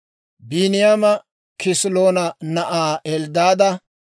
Biiniyaama Kisiloona na'aa Elddaada;